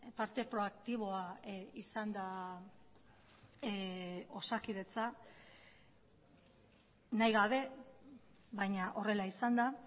parte proaktiboa izan da osakidetza nahigabe baina horrela izan da